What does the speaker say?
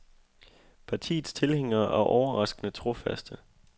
Partiets tilhængere er overraskende trofaste.